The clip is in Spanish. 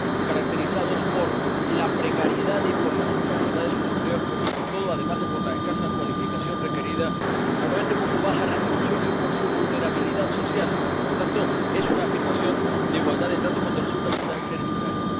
caracterizados por la precariedad y por la temporalidad de sus empleos, pero, sobre todo —además de por la escasa cualificación requerida—, normalmente por su baja retribución y por su vulnerabilidad social. Y, por tanto, es una afirmación de igualdad de trato que resulta absolutamente necesaria.